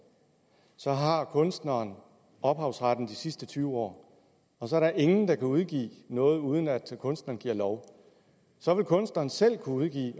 så har kunstneren ophavsretten de sidste tyve år og så er der ingen der kan udgive noget uden at kunstneren giver lov så det kunstneren selv udgiver